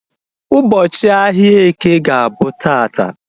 Ụbọchị ahia eke ga-abụ taata